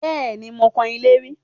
Bẹ́ẹ̀ni, mo kan ilé rí